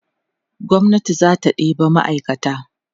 gwamnati zata ɗeba ma'aikata